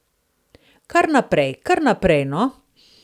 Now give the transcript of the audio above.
Kar naprej, kar naprej, no!